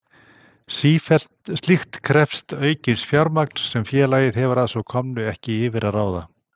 Slíkt krefst aukins fjármagns sem félagið hefur að svo komnu ekki yfir að ráða.